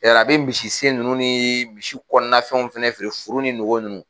Yɛrɛ a be misisen nunnu nii misi kɔnɔnafɛnw fɛnɛ feere furu nugu nunnu